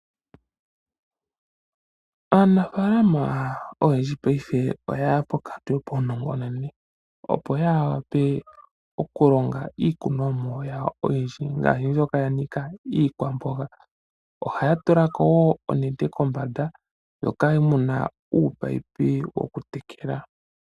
Aanafalama oyendji mongaashingeyi oyaya ponkantu yopuunongononi opo ya wape okulonga iikunomwa yawo oyindji ngaashi mbyoka ya nika iikwamboga, ohaya tulako wo onete kombanda moka muna ominino dhokutekela.